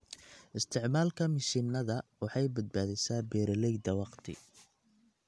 Isticmaalka mishiinada waxay badbaadisaa beeralayda wakhti.